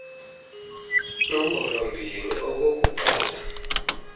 lumbolo mbini okokuqala